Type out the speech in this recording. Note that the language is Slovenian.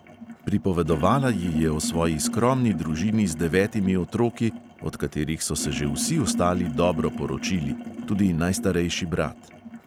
Pripovedovala ji je o svoji skromni družini z devetimi otroki, od katerih so se že vsi ostali dobro poročili, tudi najstarejši brat.